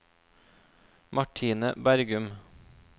Martine Bergum